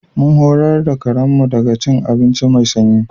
Mun horar da karen mu kada ya ci abinci mai sanyi.